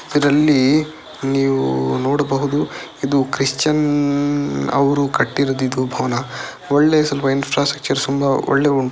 ಇದರಲ್ಲಿ ನೀವು ನೋಡಬಹುದು ಇದು ಕ್ರಿಶ್ಚಿಯನ್ ಅವರು ಕಟ್ಟಿರುವುದು ಇದು ಭವನ. ಒಳ್ಳೆ ಸ್ವಲ್ಪ ಇನ್ಫ್ರಾಸ್ಟ್ರಕ್ಚರ್ ಸುಂಬ ವೊಳ್ಳೆ --